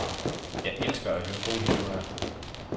Jeg elsker at høre gode historier.